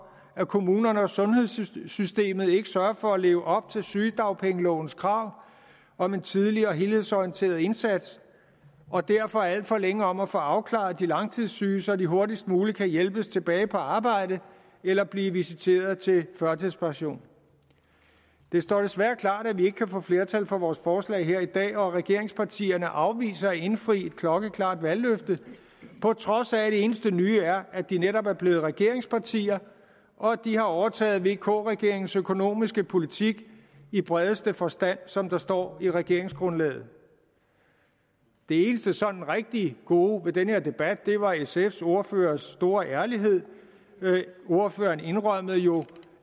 at kommunerne og sundhedssystemet ikke sørger for at leve op til sygedagpengelovens krav om en tidlig og helhedsorienteret indsats og derfor er alt for længe om at få afklaret de langtidssyge så de hurtigst muligt kan hjælpes tilbage på arbejde eller blive visiteret til førtidspension det står desværre klart at vi ikke kan få flertal for vores forslag her i dag og regeringspartierne afviser at indfri et klokkeklart valgløfte på trods af at det eneste nye er at de netop er blevet regeringspartier og at de har overtaget vk regeringens økonomiske politik i bredeste forstand som der står i regeringsgrundlaget det eneste sådan rigtig gode ved den her debat var sfs ordførers store ærlighed ordføreren indrømmede jo